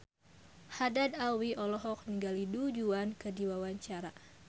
Haddad Alwi olohok ningali Du Juan keur diwawancara